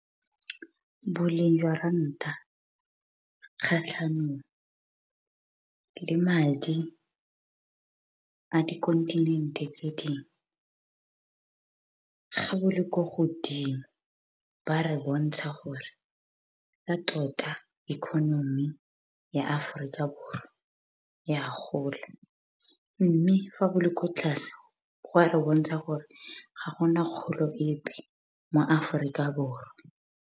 Boleng jwa ranta, kgatlhanong le madi a di kontinente tse dingwe, ga bo le kwa godimo ba re bontsha gore ka tota economy ya Aforika Borwa e a gola. Mme fa bo le kwa tlase gwa re bontsha gore ga gona kgolo epe mo Aforika Borwa.